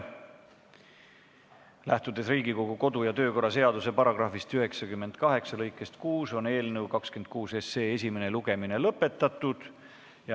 Lähtudes Riigikogu kodu- ja töökorra seaduse § 98 lõikest 6, on eelnõu 26 esimene lugemine lõpetatud.